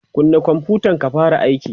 kunna konfutan ka fara aiki!